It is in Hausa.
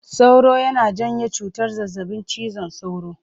Sauro yana janyo cutar zazzaɓin cizon sauro.